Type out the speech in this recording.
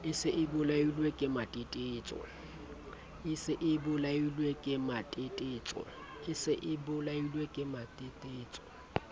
e se e bolailwe kematetetso